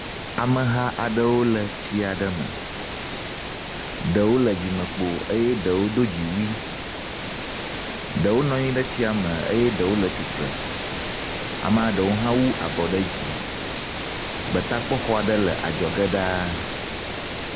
Ameha aaɖewo le tsi aɖe meɖewo le dzimekpo eye ɖewo do dziwui, ɖewo nɔ anyi ɖe tsia me eye ɖewo le tsitre. Amea ɖewo hã wowu abɔwo ɖe dzi. Gbetakpɔxxɔa aɖe le adzɔge ɖaa.